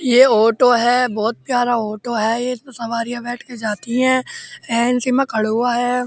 ये ऑटो है। बहोत प्यारा ऑटो है। एसमे सवारियाँ बैठ कर जाती हैं। खड़े हुए हैं।